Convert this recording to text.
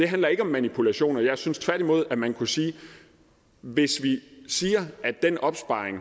handler ikke om manipulationer jeg synes tværtimod at man kunne sige hvis vi siger at den opsparing